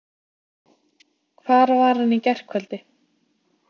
Hvar var hann í gærkvöld?